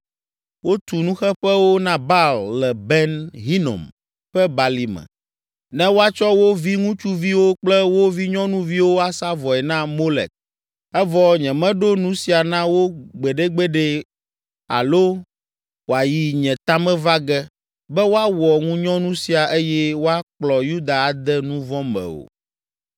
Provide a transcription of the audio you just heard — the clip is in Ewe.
Wotu nuxeƒewo na Baal le Ben Hinom ƒe Balime, ne woatsɔ wo viŋutsuviwo kple wo vinyɔnuviwo asa vɔe na Molek, evɔ nyemeɖo nu sia na wo gbeɖegbeɖe alo wòayi nye ta me va ge, be woawɔ ŋunyɔnu sia eye woakplɔ Yuda ade nu vɔ̃ me o.